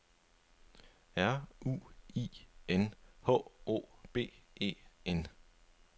R U I N H O B E N